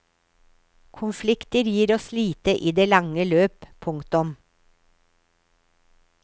Konflikter gir oss lite i det lange løp. punktum